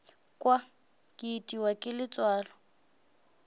kwa ke itiwa ke letswalo